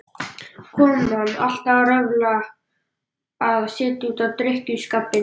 Konan alltaf að röfla, að setja út á drykkjuskapinn.